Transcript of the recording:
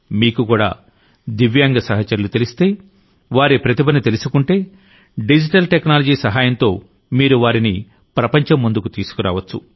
మీకు కూడా దివ్యాంగ సహచరులు తెలిస్తే వారి ప్రతిభను తెలుసుకుంటే డిజిటల్ టెక్నాలజీ సహాయంతోమీరు వారిని ప్రపంచం ముందుకు తీసుకురావచ్చు